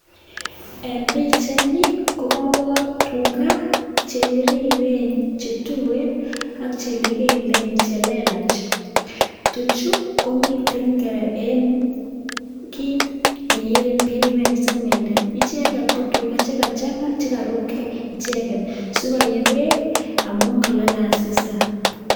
En pichait ni, kokabor tuga che biriren, che tuen, ak che lekelen che lelach. Tuchu, komiten kora en kiit ne yeen beek ne kisimenden. Icheket ko tuga che kachang'a che karubkeiy icheken, sikoyei beek amu kalale asista.